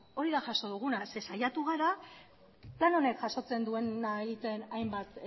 hori da jaso duguna zeren saiatu gara plan honek jasotzen duena egiten hainbat